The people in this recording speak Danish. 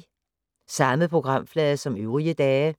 Samme programflade som øvrige dage